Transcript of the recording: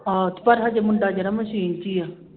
ਹਾਂ ਤੇ ਪਰ ਹਜੇ ਮੁੰਡਾ ਜਿਹੜਾ ਮਸ਼ੀਨ ਚ ਹੀ ਹੈ